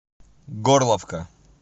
горловка